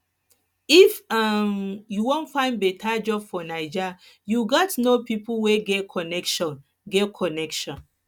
if um you wan find beta job for naija you gats know pipo wey get connection get connection